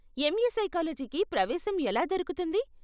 MA సైకాలజీకి ప్రవేశం ఎలా దొరుకుతుంది?